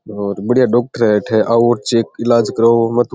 और बढ़िया डॉक्टर है अठे आओ चेक इलाज कराओ में तो --